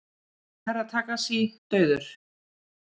Herra Takashi dauður!